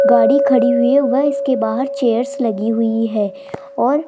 गाड़ी खड़ी हुई है व इसके बाहर चेयर्स लगी हुई है और--